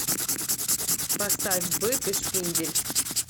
поставь бык и шпиндель